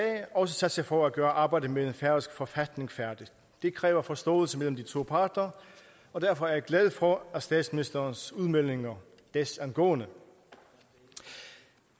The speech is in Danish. også sat sig for at gøre arbejdet med den færøske forfatning færdigt det kræver forståelse mellem de to parter og derfor er jeg glad for statsministerens udmeldinger desangående